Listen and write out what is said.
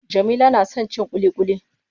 Jamila na son cin ƙuliƙuli.